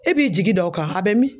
E b'i jigi da o kan a bɛ min